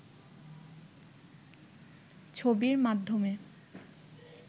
ছবির মাধ্যমে